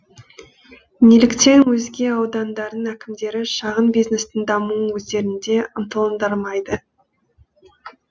неліктен өзге аудандардың әкімдері шағын бизнестің дамуын өздерінде ынталандырмайды